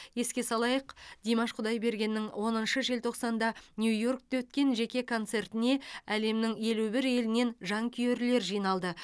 еске салайық димаш құдайбергеннің оныншы желтоқсанда нью йоркте өткен жеке концертіне әлемнің елу бір елінен жанкүйерлер жиналды